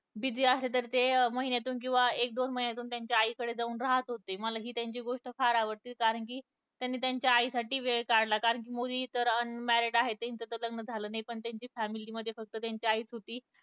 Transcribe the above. busy असेल तर ते महिन्यातून किंवा एक दोन महिन्यातून त्यांच्या आई कडे जाऊन राहत होते मला त्यांची हि गोष्ट फार आवडते कारण कि त्यांनी त्यांच्या आई साठी वेळ काढला कारण कि मोदी तर unmarried आहे त्यांचं तर लग्न झालं नाही पण त्यांच्या family मध्ये फक्त त्यांची आई च होती